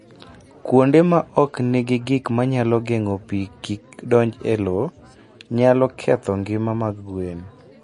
Kuonde ma ok nigi gik manyalo geng'o pi kik donj e lowo, nyalo ketho ngima mag gwen.